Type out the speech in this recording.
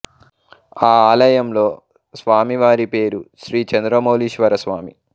ఆ ఆలయంలో స్వామి వారి పేరు శ్రీ చంద్రమౌళీశ్వర స్వామి